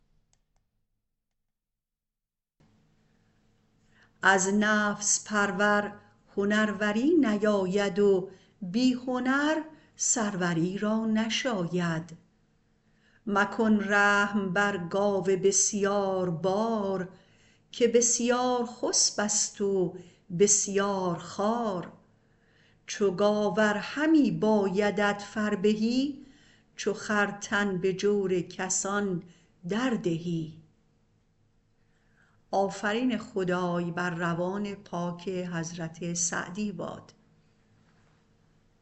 از نفس پرور هنروری نیاید و بی هنر سروری را نشاید مکن رحم بر گاو بسیاربار که بسیارخسب است و بسیارخوار چو گاو ار همی بایدت فربهی چو خر تن به جور کسان در دهی